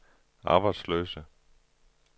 arbejdsløse